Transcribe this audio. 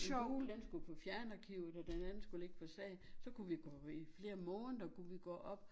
Den gule den skulle på fjernarkivet og den anden skulle ligge på sagen så kunne vi gå i flere måneder kunne vi gå op